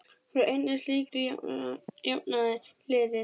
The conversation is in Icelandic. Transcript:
Úr einni slíkri jafnaði liðið.